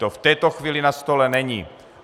To v této chvíli na stole není.